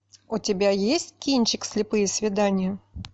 у тебя есть кинчик слепые свидания